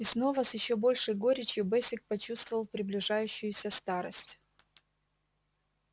и снова с ещё большей горечью бэсик почувствовал приближающуюся старость